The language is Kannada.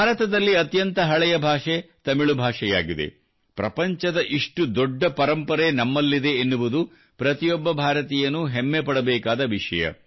ಭಾರತದಲ್ಲಿ ಅತ್ಯಂತ ಹಳೆಯ ಭಾಷೆ ತಮಿಳು ಭಾಷೆಯಾಗಿದೆ ಪ್ರಪಂಚದ ಇಷ್ಟು ದೊಡ್ಡ ಪರಂಪರೆ ನಮ್ಮಲ್ಲಿದೆ ಎನ್ನುವುದು ಪ್ರತಿಯೊಬ್ಬ ಭಾರತೀಯನೂ ಹೆಮ್ಮೆ ಪಡಬೇಕಾದ ವಿಷಯ